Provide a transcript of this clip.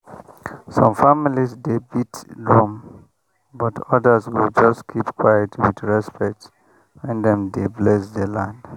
some families dey beat drum but others go just keep quiet with respect when dem dey bless the land.